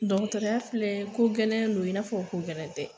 Dɔgɔtɔrɔya filɛ ko gɛlɛn don i n'a fɔ ko gɛlɛn tɛ